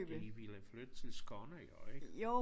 De ville flytte til Skåne jo ik?